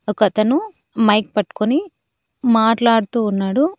ఒకతను మైక్ పట్కుని మాట్లాడుతూ ఉన్నాడు.